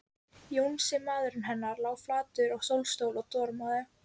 Jónsi, maðurinn hennar, lá flatur í sólstól og dormaði.